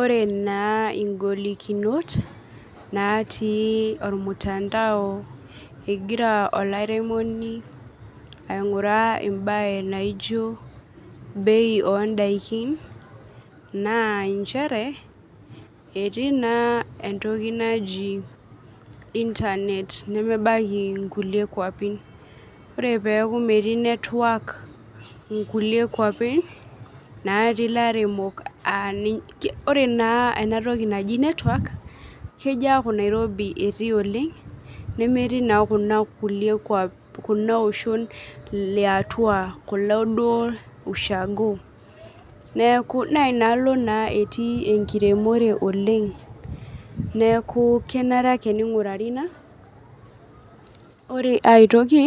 ore naa ngolikinot natii ormutandao ingira olairemoni ainguraa entoki naijo bei oontokiting ,naa nchere etii naa entoki naji internet nemebaiki nkulie kwapi ,oree pee eku metii netwak nkulie kwapi ,ore naa ena toki naji netwak kejo aaku nairobi etii oleng, nemetii naa kuloo oshon liatua ,kulo ushaago naa inaalo naa etii enkiremore oleng neeku kenare ake niegurari ina ,ore ai toki